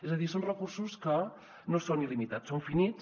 és a dir són recursos que no són il·limitats són finits